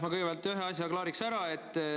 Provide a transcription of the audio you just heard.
Ma kõigepealt ühe asja klaariks ära.